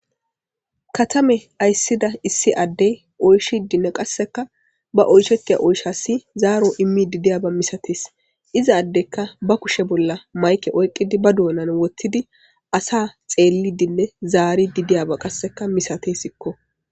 Katame ayssida issi addey oyshidinne qasseka ba oyshetia oyshasi zaaro immi didiyaba misatees izaaddekka ba kushe bolla mayke oyqqidi ba dounan wottidi asa xeelli dinne zaari didiyaba qasseka misate sikko.